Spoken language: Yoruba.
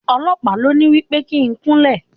Ọlọ̀pàá ló ní wí pé kí n kúnlẹ̀.